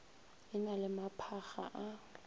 e na le maphakga a